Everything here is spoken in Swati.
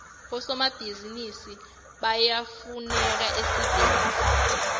bosomabhizinisi bayafuneka esiveni